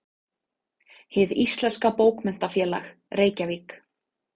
Hið íslenska bókmenntafélag: Reykjavík.